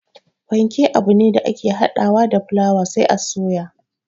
Panke abune da ake hada wa da fulaawa sai a soya